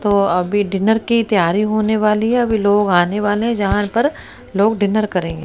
तो अभी डिनर की तैयारी होने वाली है अभी लोग आने वाले जहां पर लोग डिनर करेंगे।